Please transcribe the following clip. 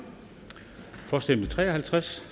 for stemte tre og halvtreds